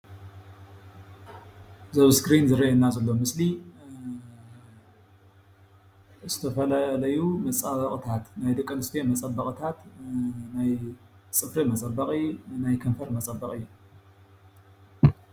እዚ ዝረአየና ዘሎ ምስሊ ዝተፈላለዩ መፃበቅታት ናይ ደቂ ኣንስትዮ መፃበቅታት ናይ ፅፍሪ መፀበቂ ናይ ከንፈር መፀበቂ